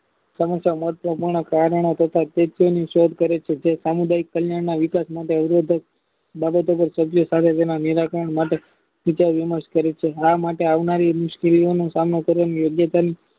સમસ્યા માટે પ્રમાણે કારણો તથા શોધ કરે છે જે સામુદાયિક કલ્યાણના અવરોધક બહેતર સભ્ય તેના નિરતં માટે વિચાર વિમાસ કરે છે આ માટે આવનારી રિંગ કામ કરી યોગ્ય